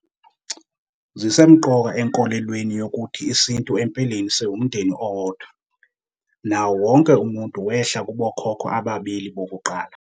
Zisemqoka enkolelweni yokuthi isintu empeleni siwumndeni owodwa, nawo wonke umuntu wehla kubokhokho ababili bokuqala.